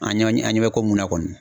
An ɲɛ an ɲɛ bɛ ko mun na kɔni